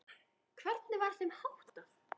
Hvernig var þeim háttað?